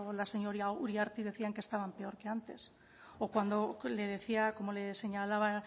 la señora uriarte decían que estaban peor que antes o cuando le decía como le señalaba